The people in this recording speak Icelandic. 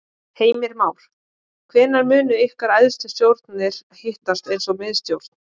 Heimir Már: Hvenær munu ykkar æðstu stjórnir hittast eins og miðstjórn?